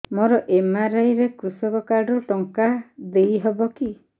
ମୋର ଏମ.ଆର.ଆଇ ରେ କୃଷକ କାର୍ଡ ରୁ ଟଙ୍କା ଦେଇ ହବ କି